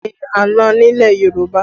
Oro ni àna nílẹ̀ Yorùbá